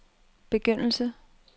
begyndelse